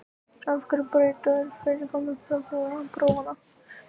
En af hverju að breyta fyrirkomulagi sjúkraprófanna?